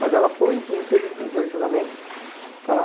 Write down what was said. Mas ela foi infeliz nos dois casamentos, tá?